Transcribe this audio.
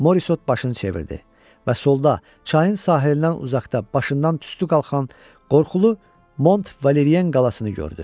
Morisot başını çevirdi və solda çayın sahilindən uzaqda başından tüstü qalxan qorxulu Mont Valerien qalasını gördü.